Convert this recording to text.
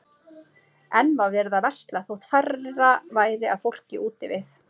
Enn var verið að versla þótt færra væri af fólki úti við.